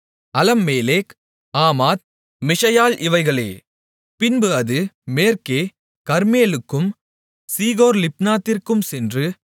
அலம்மேலெக் ஆமாத் மிஷயால் இவைகளே பின்பு அது மேற்கே கர்மேலுக்கும் சீகோர்லிப்னாத்திற்கும் சென்று